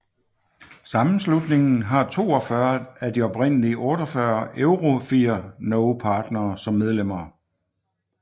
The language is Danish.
Sammenslutningen har 42 af de oprindelige 48 EuroFIR Noe partnere som medlemmer